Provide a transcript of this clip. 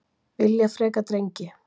Vilja frekar drengi